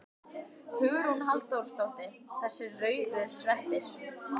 Hugrún Halldórsdóttir: Þessir rauðu sveppir?